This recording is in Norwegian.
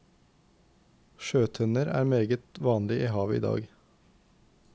Sjøtenner er meget vanlig i havet i dag.